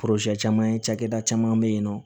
caman cakɛda caman be yen nɔ